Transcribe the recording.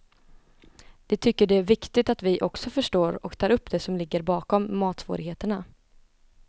De tycker det är viktigt att vi också förstår och tar upp det som ligger bakom matsvårigheterna.